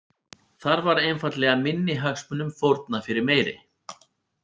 Þar var einfaldlega minni hagsmunum fórnað fyrir meiri.